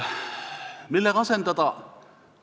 Millega asendada?